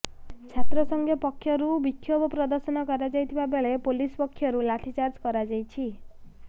ଛାତ୍ର ସଂଘ ପକ୍ଷରୁ ବିକ୍ଷୋଭ ପ୍ରଦର୍ଶନ କରାଯାଇଥିବା ବେଳେ ପୋଲିସ ପକ୍ଷରୁ ଲାଠିଚାର୍ଜ କରାଯାଇଛି